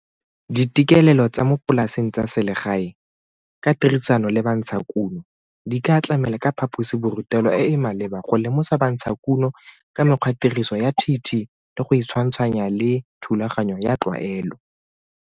Ditekelelo tsa mo polaseng tsa selegae ka tirisano le bantshakuno, di ka tlamela ka phaposiborutelo e e maleba go lemosa bantshakuno ka mekgwatiriso ya TT le go e tshwantshwanya le thulaganyo ya tlwaelo.